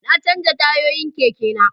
Na canja tayoyin keke na